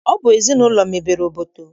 Ọ bụ ezinaụlọ mebere obodo